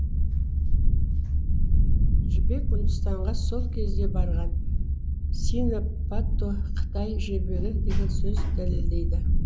жібек үндістанға сол кезде барған сина патто кытай жібегі деген сөз дәлелдейді